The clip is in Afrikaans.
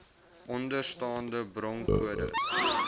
onderstaande bronkodes